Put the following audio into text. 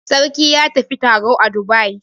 Sarki ya tafi taro a Dubai.